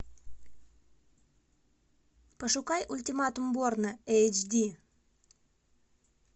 пошукай ультиматум борна эйч ди